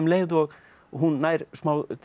leið og hún nær smá